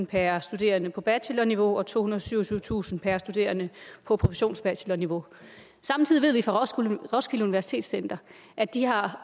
per studerende på bachelorniveau og tohundrede og syvogtyvetusind kroner per studerende på produktionsbachelorniveau samtidig ved vi fra roskilde universitetscenter at de har